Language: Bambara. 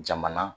Jamana